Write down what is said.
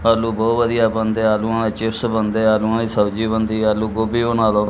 ਆਲੂ ਬਹੁਤ ਵਧੀਆ ਬਣਦੇ ਆਲੂਆਂ ਦੇ ਚਿਪਸ ਬਣਦੇ ਆਲੂਆਂ ਦੀ ਸਬਜੀ ਬਣਦੀ ਆਲੂ ਗੋਭੀ ਬਣਾ ਲਓ।